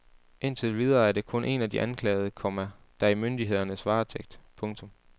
Indtil videre er det kun en af de anklagede, komma der er i myndighedernes varetægt. punktum